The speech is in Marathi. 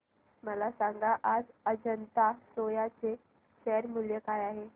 मला सांगा आज अजंता सोया चे शेअर मूल्य काय आहे